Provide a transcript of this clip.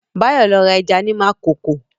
Báyọ̀ lọ ra ẹja ní Makòko